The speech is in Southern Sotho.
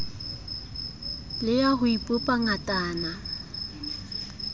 le ya ho ipopa ngatana